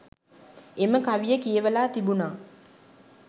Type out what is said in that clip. එම කවිය කියවලා තිබුණා